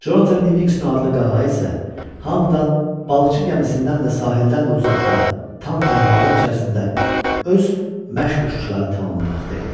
Conatan Livingston adlı qağayı isə hamıdan balıqçı gəmisindən də, sahildən də uzaqda, tam tənhalıq cəsinə, öz məşq uçuşlarını tamamlamaqda idi.